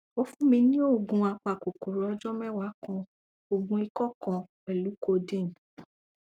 o fun mi ni oogun apakokoro ọjọ mẹwa kan oogun ikọ kan pẹlu codeine